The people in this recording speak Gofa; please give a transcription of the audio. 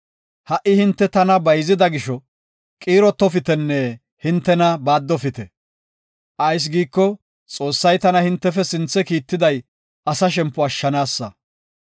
Ha77i hinte tana bayzida gisho, qiirotofitenne hintena baaddofite. Ayis giiko, Xoossay tana hintefe sinthe kiitiday asa shempo ashshanaasa.